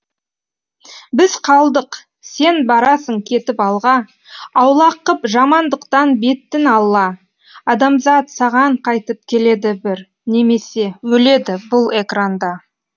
біз қалдық сен барасың кетіп алға аулақ қып жамандықтан бетін алла адамзат саған қайтып келеді бір немесе өледі бұл экранда